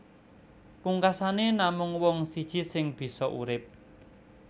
Pungkasané namung wong siji sing bisa urip